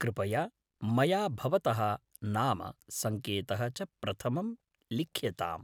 कृपया मया भवतः नाम, सङ्केतः च प्रथमं लिख्यताम्।